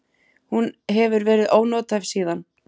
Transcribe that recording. Hún hefur verið ónothæf síðan.